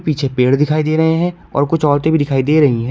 पीछे पेड़ दिखाई दे रहे हैं और कुछ औरतें भी दिखाई दे रही है।